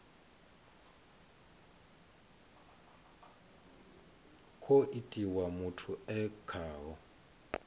khou itiwa muthu e khaho